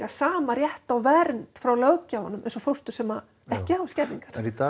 sama rétt á vernd frá löggjafanum eins og fóstur sem ekki hafa skerðingar en í dag